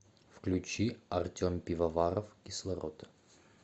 включи артем пивоваров кислород